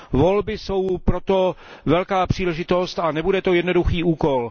Volby jsou proto velká příležitost a nebude to jednoduchý úkol.